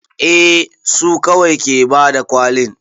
A su kawai ke bada kwalin